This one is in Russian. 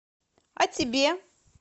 а тебе